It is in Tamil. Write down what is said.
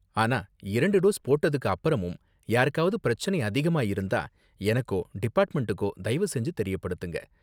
ஆனா இரண்டு டோஸ் போட்டதுக்கு அப்பறமும் யாருக்காவது பிரச்சனை அதிகமா இருந்தா எனக்கோ டிபார்ட்மெண்ட்டுகோ தயவு செஞ்சு தெரியப்படுத்துங்க.